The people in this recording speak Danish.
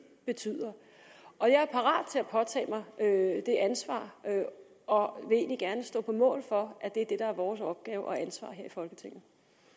betyder og jeg er parat til at påtage mig det ansvar og vil egentlig gerne stå på mål for at det er det der er vores opgave og ansvar her i folketinget